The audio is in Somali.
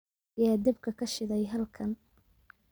yaa dabka ka shiday halkan?